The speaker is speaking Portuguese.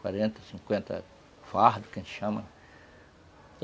Quarenta, cinquenta fardos, que a gente chama.